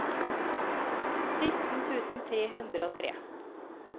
sytten tusen tre hundre og tre